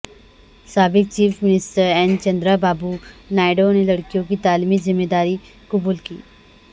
سابق chief minister N Chandra Babu Naidu نے لڑکیوں کی تعلیمی ذمہ داری قبول کی